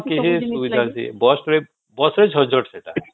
ହଁ ସବୁ ସୁବିଧା ଅଛି bus ରେ bus ରେ ଝିନ ଝଟ ସେଟା